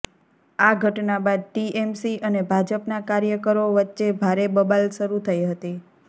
આ ઘટના બાદ ટીએમસી અને ભાજપના કાર્યકરો વચ્ચે ભારે બબાલ શરૂ થઇ હતી